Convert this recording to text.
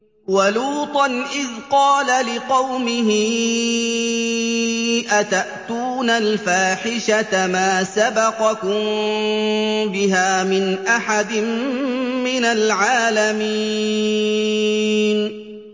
وَلُوطًا إِذْ قَالَ لِقَوْمِهِ أَتَأْتُونَ الْفَاحِشَةَ مَا سَبَقَكُم بِهَا مِنْ أَحَدٍ مِّنَ الْعَالَمِينَ